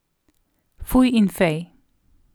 Fuj in fej.